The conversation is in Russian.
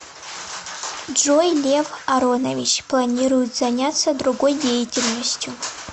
джой лев аронович планирует занятся другой деятельностью